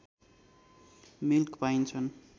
milk पाइन्छन्